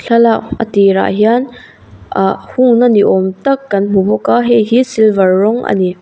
thlalak a tirah hian ah hungna ni awm tak kan hmu bawk a hei hi silver rawng ani.